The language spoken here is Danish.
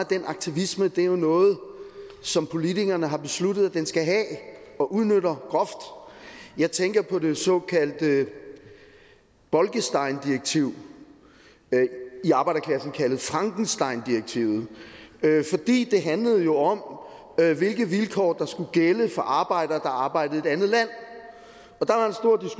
den aktivisme er jo noget som politikerne har besluttet at den skal have og udnytter groft jeg tænker på det såkaldte bolkesteindirektiv i arbejderklassen kaldet frankensteindirektivet det handlede jo om hvilke vilkår der skulle gælde for arbejdere i et andet land